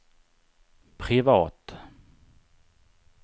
privat